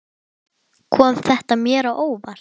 Kom þetta mér á óvart?